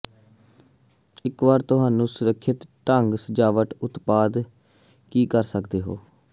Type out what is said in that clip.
ਇੱਕ ਵਾਰ ਤੁਹਾਨੂੰ ਸੁਰੱਖਿਅਤ ਢੰਗ ਸਜਾਵਟ ਉਤਪਾਦ ਕੀ ਕਰ ਸਕਦੇ ਹੋ